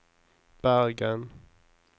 Bergen